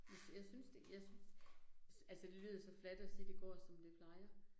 Jeg jeg synes det, jeg synes, altså det lyder så fladt at sige, det går som det plejer